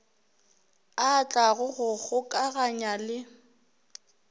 a tlago go gokaganya le